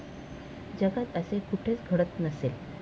जगात असे कुठेच घडत नसेल.